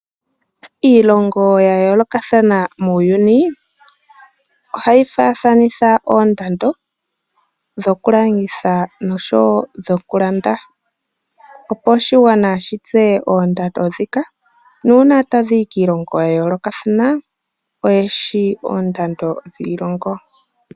Iilongo ya yoolokathana muuyuni ohayi faathanitha oondando dhokulanditha oshowo dhokulanda opo oshigwana shitseye oondando ndhika nuuna taya yi kiilongo ya yookathana oye shi oondando dhiilongo.